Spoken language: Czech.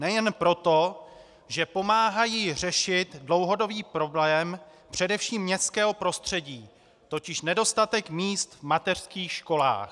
Nejen proto, že pomáhají řešit dlouhodobý problém především městského prostředí, totiž nedostatek míst v mateřských školách.